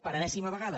per enèsima vegada